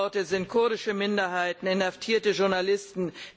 Stichworte kurdische Minderheiten, inhaftierte Journalisten.